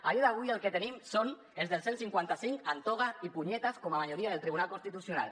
a dia d’avui el que tenim són els del cent i cinquanta cinc amb toga y puñetas com a majoria del tribunal constitucional